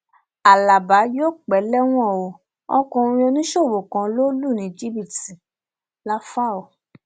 alábà yóò pẹ lẹwọn o ọkùnrin oníṣòwò kan lọ lù lù ní jìbìtì làfáò